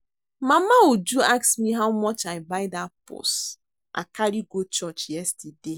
Mama Uju ask me how much I buy dat purse I carry go church yesterday